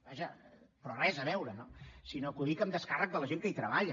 vaja però res a veure no sinó que ho dic en descàrrec de la gent que hi treballa